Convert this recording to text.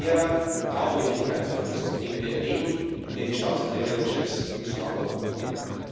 Es ist ein schwerer Glaubwürdigkeitsverlust, den wir erleben und den die Staats und Regierungschefs zu verantworten haben.